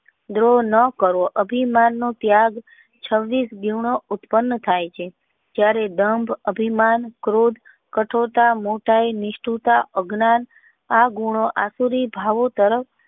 ક્રોધ ના કરવો અભિમાન નો ત્યગ છવ્વીસ ગુનો ઉતપ્ન્નન થાય છે ત્યારે બંધ અભિમાન ક્રોધ કઠોળતા મોટાઈ નિષ્ઠુતા અજ્ઞાન ગુનો અચારીક ભાવો તરફ.